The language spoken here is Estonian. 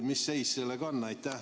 Mis seis sellega on?